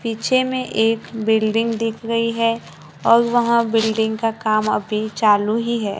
पीछे में एक बिल्डिंग दिख रही है और वहां बिल्डिंग का काम अभी चालू ही है।